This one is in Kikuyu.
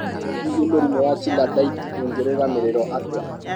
Hihi mũrimũ wa Chilaiditi ũngĩrũgamagĩrĩrũo atĩa?